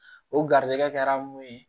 O garizɛgɛ kɛra mun ye